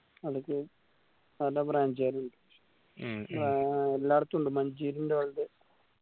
അവ്ട്ക്ക് നല്ല branch car വരും എല്ലാരും